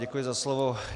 Děkuji za slovo.